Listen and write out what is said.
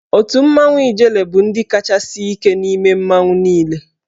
Otù mmanwụ Ijele bụ ndị kacha sie ike n'ime mmanwụ niile.